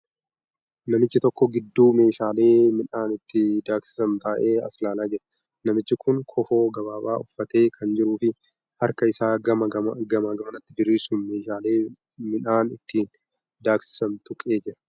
Namichi tokko gidduu meeshaalee midhaan itti daaksisan taa'ee as ilaalaa jira. Namichi kuni kofoo gabaabaa uffatee kan jiruu fi harka isaa gamaa gamanatti diriirsuun meeshaalee midhaan ittiin daaksisan tuqee jira.